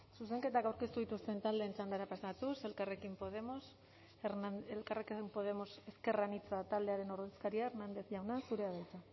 zuzenketak aurkeztu dituzten taldeen txandara pasatuz elkarrekin podemos ezker anitza taldearen ordezkaria hernández jauna zurea da hitza